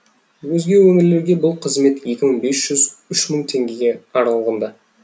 өзге өңірлерде бұл қызмет екі мың бес жүз үш мың теңгеге аралығында